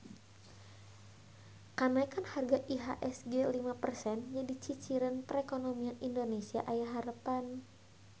Kanaekan harga IHSG lima persen jadi ciciren perekonomian Indonesia aya harepan